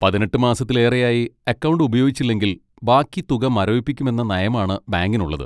പതിനെട്ട് മാസത്തിലേറെയായി അക്കൗണ്ട് ഉപയോഗിച്ചില്ലെങ്കിൽ ബാക്കി തുക മരവിപ്പിക്കുമെന്ന നയമാണ് ബാങ്കിനുള്ളത്.